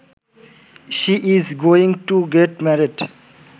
she is going to get married